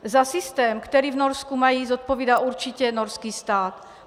Za systém, který v Norsku mají, zodpovídá určitě norský stát.